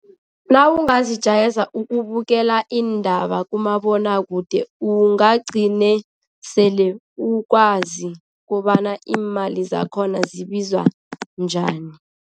Nawungazijayeza ukubukela iindaba kumabonwakude, ungagcine sele ukwazi kobana iimali zakhona zibizwa njani.